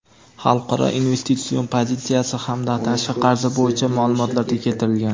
xalqaro investitsion pozitsiyasi hamda tashqi qarzi bo‘yicha ma’lumotlarda keltirilgan.